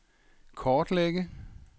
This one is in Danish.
kortlægge